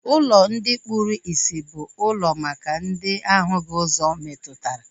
Ụlọ ndi kpụrụ isi bụ ụlọ maka ndị ahụghị ụzọ metụtara